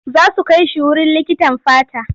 Za su kai shi wurin likitan fata.